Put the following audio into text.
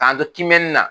K'an to kiimɛni na